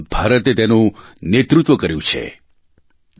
ભારતે તેનું નેતૃત્વ કર્યું છે બી